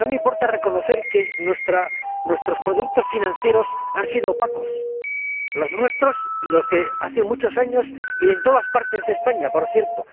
No me importa reconocer que nuestros productos financieros han sido opacos, los nuestros y los de hace muchos años y en todas partes de España, por cierto.